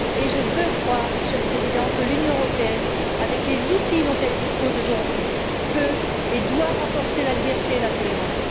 Je veux croire, Monsieur le président, que l'Union européenne, avec les outils dont elle dispose aujourd'hui, peut et doit renforcer la liberté et la tolérance.